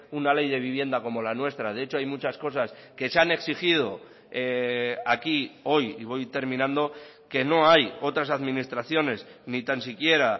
una ley de vivienda como la nuestra de hecho hay muchas cosas que se han exigido aquí hoy y voy terminando que no hay otras administraciones ni tan siquiera